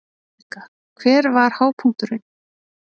Helga: Hver var hápunkturinn?